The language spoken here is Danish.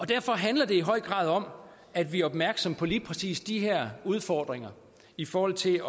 derfor handler det i høj grad om at vi er opmærksomme på lige præcis de her udfordringer i forhold til